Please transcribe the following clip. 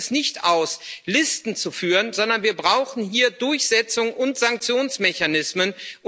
Da reicht es nicht aus, Listen zu führen, sondern wir brauchen hier Durchsetzungs und Sanktionsmechanismen.